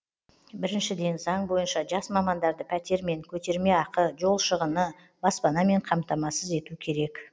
біріншіден заң бойынша жас мамандарды пәтермен көтерме ақы жол шығыны баспанамен қамтамасыз ету керек